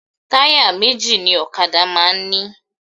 Táyà méjì ni ọ̀kadà máa ń ní